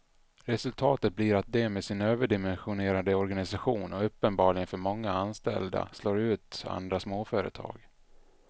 Resultatet blir att de med sin överdimensionerade organisation och uppenbarligen för många anställda slår ut andra småföretag.